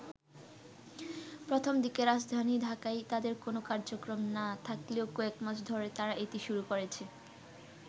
প্রথম দিকে রাজধানী ঢাকায় তাদের কোন কার্যক্রম না থাকলেও কয়েক মাস ধরে তারা এটি শুরু করেছে।